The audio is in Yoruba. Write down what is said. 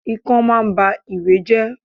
Ikán máa ń ba ìwé jẹ́.